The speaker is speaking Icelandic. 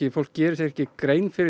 fólk gerir sér ekki grein fyrir